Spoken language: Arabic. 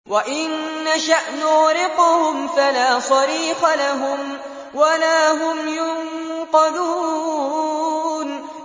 وَإِن نَّشَأْ نُغْرِقْهُمْ فَلَا صَرِيخَ لَهُمْ وَلَا هُمْ يُنقَذُونَ